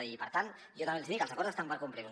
i per tant jo també els hi dic els acords estan per complir los